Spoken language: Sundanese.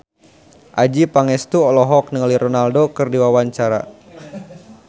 Adjie Pangestu olohok ningali Ronaldo keur diwawancara